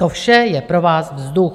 To vše je pro vás vzduch.